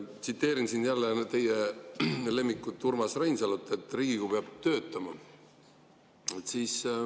Tsiteerin jälle teie lemmikut Urmas Reinsalut: Riigikogu peab töötama.